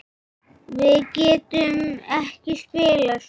Við getum ekki spilað svona.